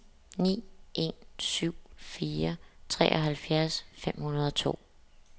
ni en syv fire treoghalvfjerds fem hundrede og to